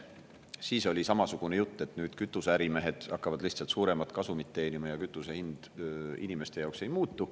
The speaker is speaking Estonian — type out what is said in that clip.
Siis oli samasugune jutt, et nüüd kütuseärimehed hakkavad lihtsalt suuremat kasumit teenima ja kütuse hind inimeste jaoks ei muutu.